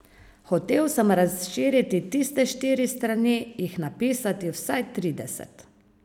Hotel sem razširiti tiste štiri strani, jih napisati vsaj trideset.